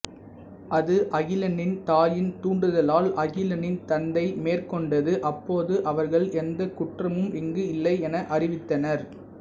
அது அகிலனின் தாயின் தூண்டுதலால் அகிலனின் தந்தை மேற்கொண்டது அப்போது அவர்கள் எந்த குற்றமும் இங்கு இல்லை என அறிவித்தனர்